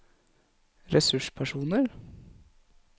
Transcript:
ressurspersoner